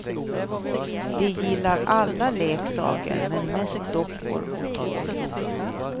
De gillar alla leksaker, men mest dockor och tåg.